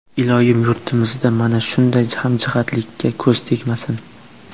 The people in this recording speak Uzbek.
Iloyim, yurtimizda mana shunday hamjihatlikka ko‘z tegmasin!